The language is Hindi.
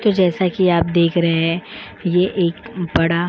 तो जैसा कि आप देख रहे हैं ये एक बड़ा --